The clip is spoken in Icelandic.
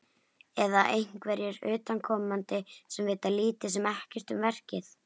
Eða einhverjir utanaðkomandi sem vita lítið sem ekkert um verkið?